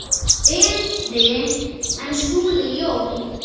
Betri en Skúli Jón?